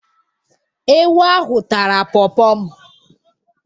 Ewu ahụ tara pọọpọ m